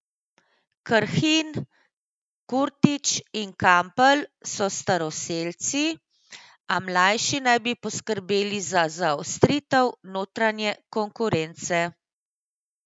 Krhin, Kurtić in Kampl so staroselci, a mlajši naj bi poskrbeli za zaostritev notranje konkurence.